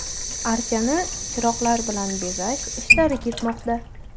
Archani chiroqlar bilan bezash ishlari ketmoqda.